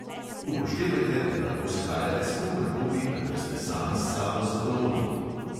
Upoštevajte, da lahko shajate s komer koli, kadar ste sami s sabo zadovoljni.